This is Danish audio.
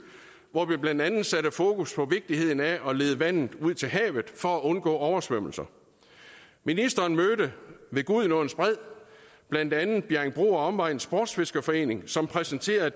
hvor vi blandt andet satte fokus på vigtigheden af at lede vandet ud til havet for at undgå oversvømmelser ministeren mødte ved gudenåens bred blandt andet bjerringbro og omegns sportsfiskerforening som præsenterede